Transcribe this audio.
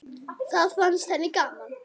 Það fannst henni gaman.